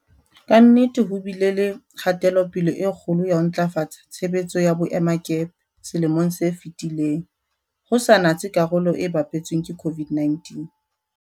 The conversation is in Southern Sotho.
Ka nnete ho bile le kgatelo-pele e kgolo ya ho ntlafatsa tshebetso ya boemakepe selemong se fetileng, ho sa natse karolo e bapetsweng ke COVID-19.